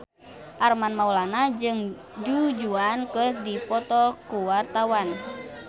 Armand Maulana jeung Du Juan keur dipoto ku wartawan